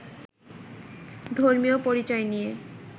ধর্মীয় পরিচয় নিয়ে